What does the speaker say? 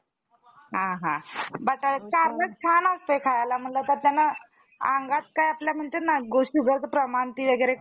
त्याविषयी विचार करून गेल्यास त्याचा परिणाम मत्स्यांसारख्या मच्छयासारखा होईल. व तेणेकरून आपल्या वेळ फुकट जाईल. अशी माझी खात्री. माझावर,